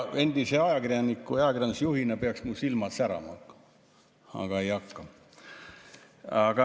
Endise ajakirjaniku ja ajakirjandusjuhina peaks mu silmad särama hakkama, aga ei hakka.